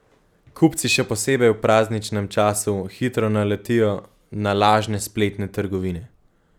Kupci še posebej v prazničnem času hitro naletijo na lažne spletne trgovine.